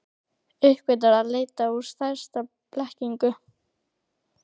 Uppgötvar að leitin er stærsta blekkingin.